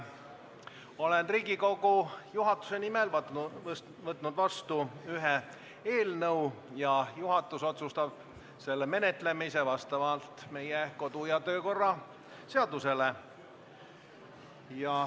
Olen Riigikogu juhatuse nimel võtnud vastu ühe eelnõu ja juhatus otsustab selle menetlemise vastavalt meie kodu- ja töökorra seadusele.